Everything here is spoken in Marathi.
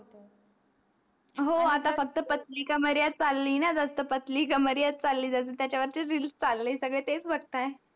हो आता फक्त पातळी कामरिया चाली न जास्त पतली कामरिया च चाली जस त्याचवरचेस REELS चले सगडे तेस बघताय